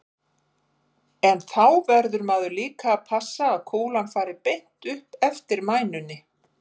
En þá verður maður líka að passa að kúlan fari beint upp eftir mænunni.